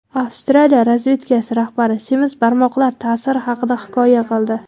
Avstraliya razvedkasi rahbari semiz barmoqlar ta’siri haqida hikoya qildi.